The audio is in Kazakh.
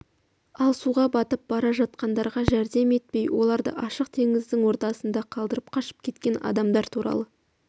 ал суға батып бара жатқандарға жәрдем етпей оларды ашық теңіздің ортасында қалдырып қашып кеткен адамдар туралы